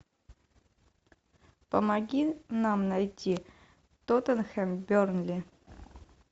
помоги нам найти тоттенхэм бернли